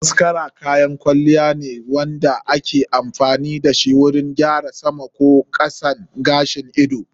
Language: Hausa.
Mascara kayan kwalliya ne wanda ake amfani dashi wurin gyara sama ko kasan gashin ido.